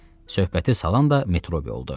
Söhbəti salan da Metrobi oldu.